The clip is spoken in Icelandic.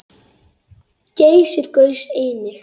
Geysir gaus einnig.